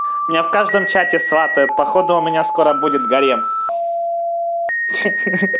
меня в каждом чате сватают походу у меня скоро будет гарем